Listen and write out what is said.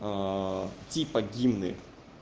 типа гимны